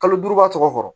Kalo duuru ba tɔgɔ